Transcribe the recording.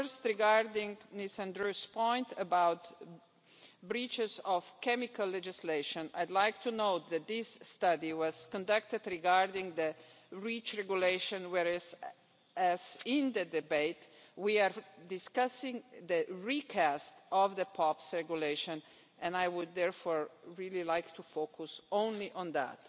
First, regarding Mr Andrieu's point about breaches of chemical legislation, I'd like you to know that this study was conducted regarding the REACH Regulation, whereas, in the debate, we were discussing the recast of the POPs Regulation and I would therefore really like to focus only on that.